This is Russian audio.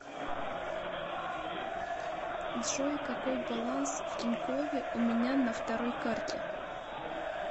джой какой баланс в тинькове у меня на второй карте